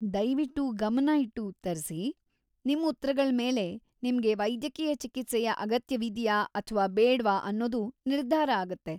ದಯ್ವಿಟ್ಟು ಗಮನ ಇಟ್ಟು ಉತ್ತರ್ಸಿ, ನಿಮ್ ಉತ್ರಗಳ್‌ ಮೇಲೆ ನಿಮ್ಗೆ ವೈದ್ಯಕೀಯ ಚಿಕಿತ್ಸೆಯ ಅಗತ್ಯವಿದ್ಯಾ ಅಥ್ವಾ‌ ಬೇಡ್ವಾ ಅನ್ನೋದು ನಿರ್ಧಾರ ಆಗತ್ತೆ.